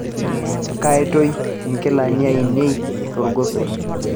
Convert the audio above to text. kaitoi inkilani ainei tolgosoi